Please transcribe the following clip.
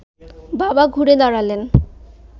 বাবা ঘুরে দাঁড়ালেন